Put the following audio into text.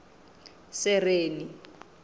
sereni